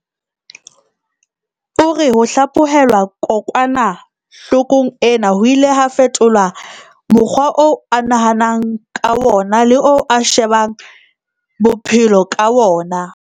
O re ho hlaphohelwa kokwana-hlokong ena ho ile ha fetola mokgwa oo a nahanang ka wona le oo a shebang bophe-lo ka wona.